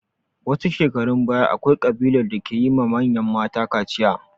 Wasu shekarun baya, akwai ƙabilar da ke yi ma manyan mata kaciya.